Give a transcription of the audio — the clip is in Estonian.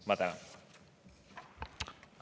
Ma tänan!